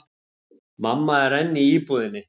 Mamma er enn í íbúðinni.